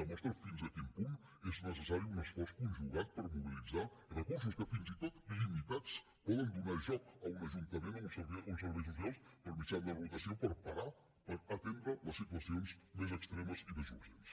demostra fins a quin punt és necessari un esforç conjugat per mobilitzar recursos que fins i tot limitats poden donar joc a un ajuntament a uns serveis socials per mitjà de rotació per parar per atendre les situacions més extremes i més urgents